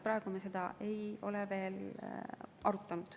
Praegu me seda ei ole veel arutanud.